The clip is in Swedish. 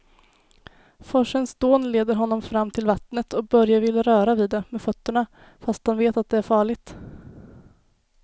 Forsens dån leder honom fram till vattnet och Börje vill röra vid det med fötterna, fast han vet att det är farligt.